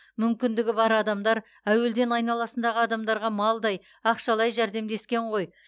мүмкіндігі бар адамдар әуелден айналасындағы адамдарға малдай ақшалай жәрдемдескен ғой